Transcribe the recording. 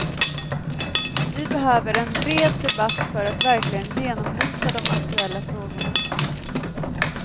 Vi behöver en bred debatt för att verkligen genomlysa de aktuella frågorna.